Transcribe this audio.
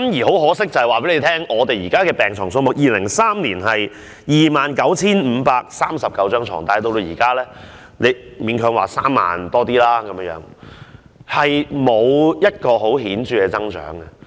很可惜，我要告訴大家 ，2003 年的病床數目是 29,539 張，但現在只是勉強有3萬多張，沒有顯著增長。